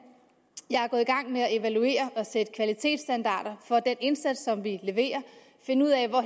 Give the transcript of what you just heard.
jeg er gået i gang med at evaluere og sætte kvalitetsstandarder for den indsats som vi leverer finde ud af hvor